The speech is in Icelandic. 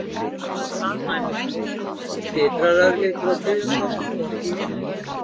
Skyndilega staðnæmist hún, titrar örlítið og byrjar svo að snúast í hina áttina.